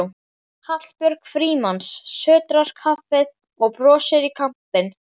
Hallbjörg Frímanns sötrar kaffið og brosir í kampinn.